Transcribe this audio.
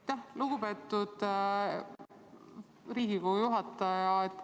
Aitäh, lugupeetud Riigikogu juhataja!